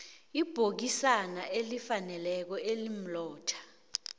ibhokisana elifaneleko elimlotha